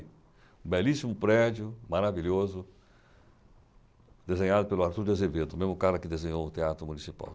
Belíssimo prédio, maravilhoso, desenhado pelo Arthur de Azevedo, o mesmo cara que desenhou o Teatro Municipal.